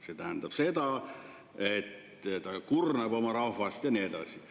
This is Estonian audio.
See tähendab seda, et ta kurnab oma rahvast ja nii edasi.